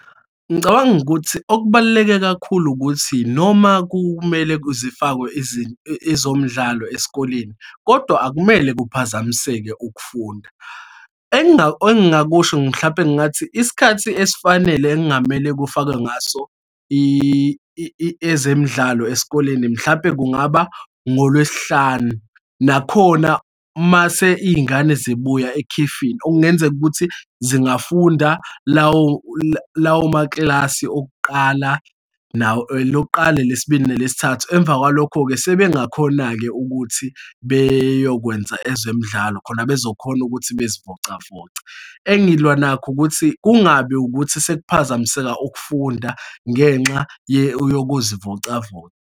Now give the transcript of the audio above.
Ngicabanga ukuthi okubaluleke kakhulu ukuthi noma kumele zifakwe ezomdlalo esikoleni, kodwa akumele kuphazamiseke ukufunda. Engingakusho mhlampe ngathi, isikhathi esifanele engamele kufakwe ngaso ezemidlalo esikoleni mhlampe kungaba ngoLwesihlanu. Nakhona mase iy'ngane zibuya ekhefini, okungenzeka ukuthi zingafunda lawo lawo maklasi okuqala, elokuqala, elesibili, nelesithathu. Emva kwalokho-ke sebengakhona-ke ukuthi beyokwenza ezemidlalo khona bezokhona ukuthi bezivocavoce. Engilwa nakho ukuthi kungabi ukuthi sekuphazamiseka ukufunda ngenxa yokuzivocavoca.